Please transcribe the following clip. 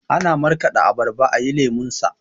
Ana markaɗa abarba ayi lemonsa